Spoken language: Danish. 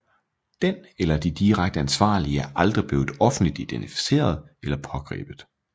Den eller de direkte ansvarlige er aldrig blevet offentligt identificeret eller pågrebet